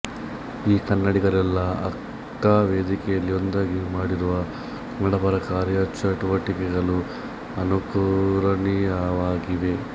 ಈ ಕನ್ನಡಿಗರೆಲ್ಲಾ ಅಕ್ಕ ವೇದಿಕೆಯಲ್ಲಿ ಒಂದಾಗಿ ಮಾಡಿರುವ ಕನ್ನಡಪರ ಕಾರ್ಯಚಟುವಟಿಕೆಗಳು ಅನುಕರಣೀಯವಾಗಿವೆ